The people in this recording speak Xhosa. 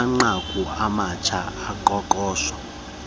amanqaku amatsha oqoqosho